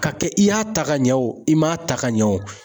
Ka kɛ i y'a ta ka ɲɛ, i m'a ta ka ɲɛ o